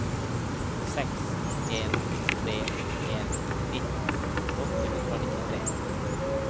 seks en tre en nitten åtte hundre og nittitre